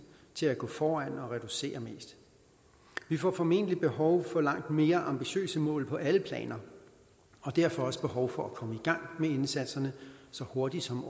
til at gå foran og reducere mest vi får formentlig behov for langt mere ambitiøse mål på alle planer og derfor også behov for at komme i gang med indsatserne så hurtigt som